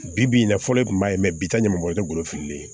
Bi bi in na fɔlɔ i kun b'a ye bi taa ɲɛmɔgɔ ye ne golo firilen